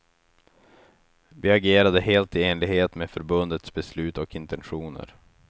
Vi agerade helt i enlighet med förbundets beslut och intentioner.